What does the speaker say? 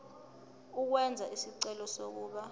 ukwenza isicelo sokuba